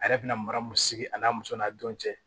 A yɛrɛ bɛna mara mun sigi a n'a muso n'a don cɛ